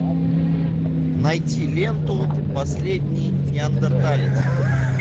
найти ленту последний неандерталец